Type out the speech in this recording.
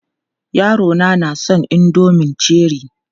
Yarona na son indomin Cherie.